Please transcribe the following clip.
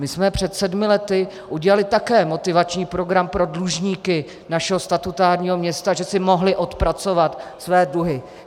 My jsme před sedmi lety udělali také motivační program pro dlužníky našeho statutárního města, že si mohli odpracovat své dluhy.